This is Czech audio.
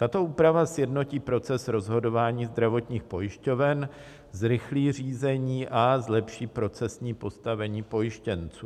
Tato úprava sjednotí proces rozhodování zdravotních pojišťoven, zrychlí řízení a zlepší procesní postavení pojištěnců.